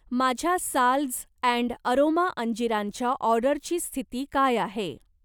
माझ्या Salz and Aroma अंजीरांच्या ऑर्डरची स्थिती काय आहे?